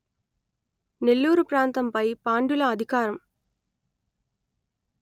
నెల్లూరు ప్రాంతంపై పాండ్యుల అధికారం